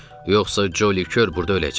Yoxsa Ccoli kör burda öləcək.